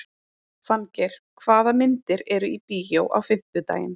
Fanngeir, hvaða myndir eru í bíó á fimmtudaginn?